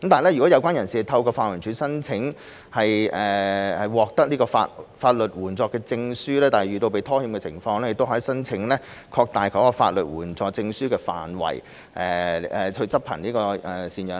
如果有關人士透過法援署申請獲得法律援助證書，但遇到被拖欠的情況，亦可以申請擴大法律援助證書的範圍來執行贍養令。